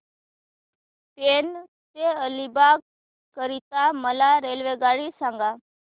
पेण ते अलिबाग करीता मला रेल्वेगाडी सांगा